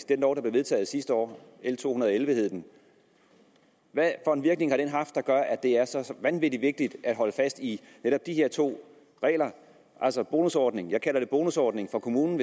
den lov der blev vedtaget sidste år l to hundrede og elleve hed den hvad for en virkning har den haft som gør at det er så vanvittig vigtigt at holde fast i netop de her to regler altså bonusordningen jeg kalder en bonusordning for kommunen